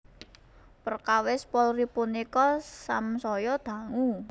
Perkawis Polri punika samsaya dangu